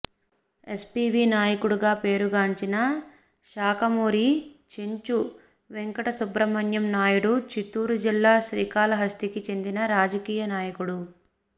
SCV Naidu గా పేరుగాంచిన శాఖమూరి చెంచు వెంకటసుబ్రహ్మణ్యం నాయుడు చిత్తూరు జిల్లా శ్రీకాళహస్తికి చెందిన రాజకీయ నాయకుడు